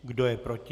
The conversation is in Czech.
Kdo je proti?